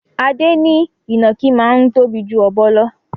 Adé ní ìnàkí máa ń tóbi ju ọ̀bọ lò.